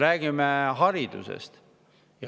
Räägime haridusest.